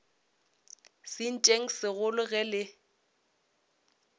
sentšeng se segolo ge le